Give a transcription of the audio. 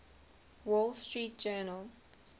wall street journal